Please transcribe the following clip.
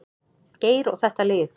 Geir og þetta lið.